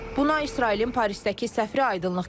Bunu İsrailin Parisdəki səfiri aydınlıq gətirib.